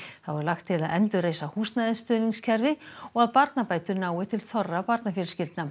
þá er lagt til að endurreisa húsnæðisstuðningskerfi og að barnabætur nái til þorra barnafjölskyldna